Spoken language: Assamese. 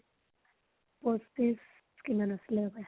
পয়ত্ৰিছ কিমান আছিলে বা